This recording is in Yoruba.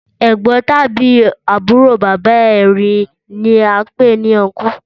Ẹ̀gbọ́n tàbí àbúrò bàbá re ni án pé ní ọnkú